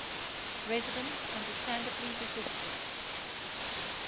residents understandably resisted